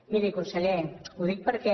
miri conseller ho dic perquè